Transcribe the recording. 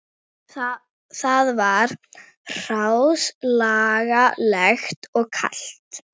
Það var hráslagalegt og kalt